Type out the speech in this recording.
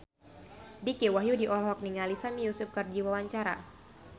Dicky Wahyudi olohok ningali Sami Yusuf keur diwawancara